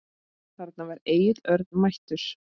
Þarna var Egill Örn mættur.